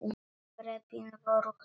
Þrepin voru hrein.